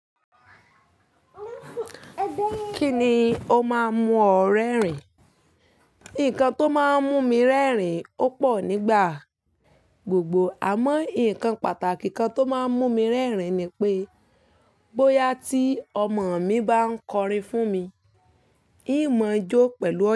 Kíni ó máa ń mú ọ rẹ́rìn-ín? Nǹkan tó máa ń mú mi rẹ́rìn-ín ó pọ̀ nígbà gbogbo. Àmọ́, ǹkan pàtàkì kan tó máa ń mú mi rẹ́rìn-ín ni pé, bóyá tí ọmọ mi bá ń kọrin fún mi, ìmọ̀ọ́jọ́ pẹ̀lú ọyẹ́.